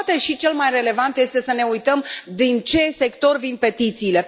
Și poate și cel mai relevant este să ne uităm din ce sector vin petițiile.